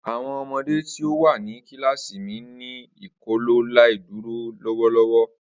Awọn ọmọde ti o wa ni kilasi mi n ni Ikọaláìdúró lọwọlọwọ.